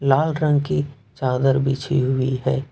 लाल रंग की चादर बिछी हुई है।